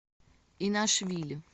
инашвили